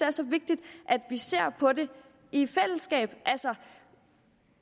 er så vigtigt at vi ser på de i fællesskab altså